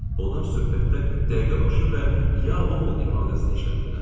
Onlar söhbətdə dəqiqəbaşı və ya Vohl ifadəsini işlədirlər.